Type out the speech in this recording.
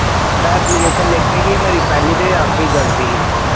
ਕਹਿੰਦਾ ਲਿਖਣੀ ਇਹ ਮੇਰੀ ਪਹਿਲੀ ਤੇ ਆਖਰੀ ਗਲਤੀ